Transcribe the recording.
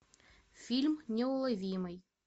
фильм неуловимый